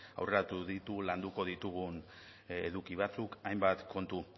aurreratu ditu landuko ditugun eduki batzuk hainbat kontu